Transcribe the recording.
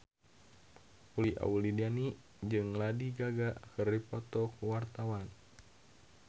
Uli Auliani jeung Lady Gaga keur dipoto ku wartawan